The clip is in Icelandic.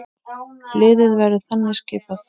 Liðið verður þannig skipað